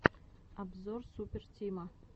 обзор супер тима